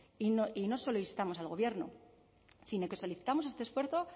y no solo instamos al gobierno sino que solicitamos este esfuerzo